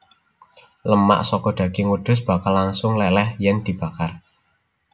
Lemak saka daging wedhus bakal langsung leleh yen dibakar